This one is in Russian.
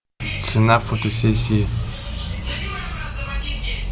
цена фотосессии